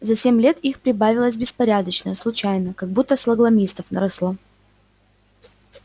за семь лет их прибавилось беспорядочно случайно как будто сталагмитов наросло